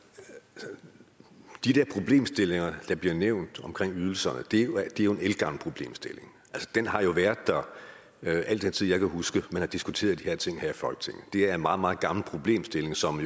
men de der problemstillinger der bliver nævnt omkring ydelserne er jo en ældgammel problemstilling den har jo været der i al den tid jeg kan huske man har diskuteret de her ting i folketinget det er en meget meget gammel problemstilling som